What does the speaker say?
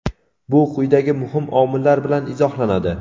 Bu quyidagi muhim omillar bilan izohlanadi.